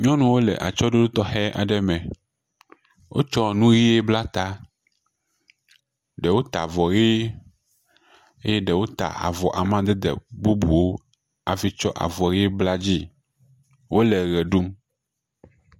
Nyɔnuwo le atsɔɖoɖo tɔxɛ aɖe me. Wotsɔ nu ʋe bla ta. Ɖewo ta vɔ ʋe. eye ɖewo ta avɔ amadede bubuwo hafi ts avɔ ʋe bla edzie. Wole ʋe ɖum.